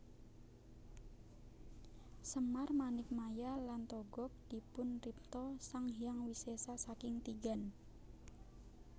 Semar Manikmaya lan Togog dipunripta Sang Hyang Wisesa saking tigan